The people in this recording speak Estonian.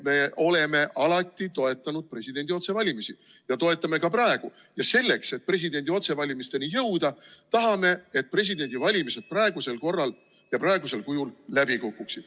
Me oleme alati toetanud presidendi otsevalimisi ja toetame ka praegu ning selleks, et presidendi otsevalimisteni jõuda, tahame, et presidendivalimised praeguse korra järgi ja praegusel kujul läbi kukuksid.